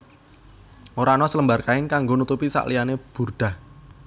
Ora ana selembar kain kanggo nutupi sakliyane burdah